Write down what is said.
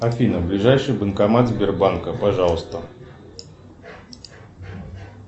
афина ближайший банкомат сбербанка пожалуйста